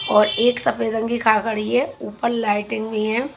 और एक सफेद रंग की कार खड़ी है ऊपर लाइटिंग भी है।